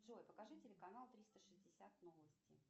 джой покажи телеканал триста шестьдесят новости